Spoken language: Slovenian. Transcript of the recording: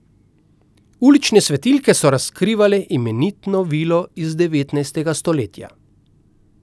Ulične svetilke so razkrivale imenitno vilo iz devetnajstega stoletja.